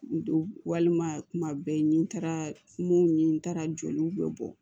N don walima kuma bɛɛ ni n taara kungo ɲini n taara joliw bɛ bɔ